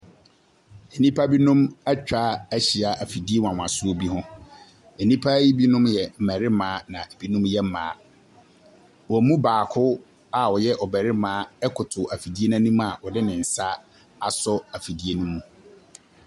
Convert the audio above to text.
Nnipa binom atwa ahyia afidie nwanwaso bi ho. Nnipa yi binom yɛ mmarima na binom yɛ mmaa. Wɔn mu baaako aɔyɛ barima koto afidie n’anim a ɔde ne nsa aso afidie ne mu.